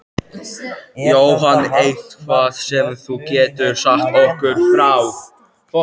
Jóhann: Eitthvað sem þú getur sagt okkur frá?